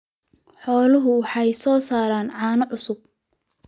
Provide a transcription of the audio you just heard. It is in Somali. Xooluhu waxay soo saaraan caano cusub.